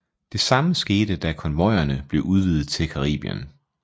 Det samme skete da konvojerne blev udvidet til Caribien